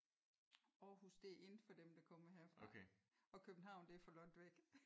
Aarhus det er in for dem der kommer herfra. Og København det er for langt væk